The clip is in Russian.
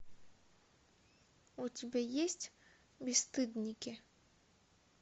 у тебя есть бесстыдники